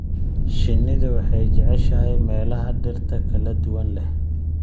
Shinnidu waxay jeceshahay meelaha dhirta kala duwan leh.